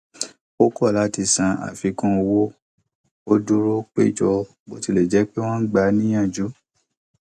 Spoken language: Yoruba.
ó kọ láti san àfikún owó ó dúró péjọ bó tilẹ jẹ pé wón ń gba á níyànjú